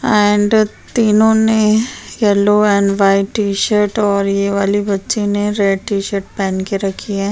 And तीनों ने yellow and white T shirt और ये वाले बच्चे ने रेड टीशर्ट पहन के रखी है।